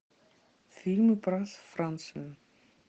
фильмы про францию